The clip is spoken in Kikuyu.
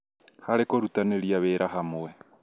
harĩ kũrutanĩria wĩra hamwe